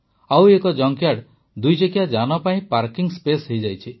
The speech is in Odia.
ଆଉ ଏକ ଜଙ୍କ୍ୟାର୍ଡ ଦୁଇଚକିଆ ଯାନ ପାଇଁ ପାର୍କିଂ ସ୍ପେସ୍ ହୋଇଯାଇଛି